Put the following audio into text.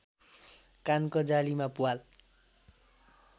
कानको जालीमा प्वाल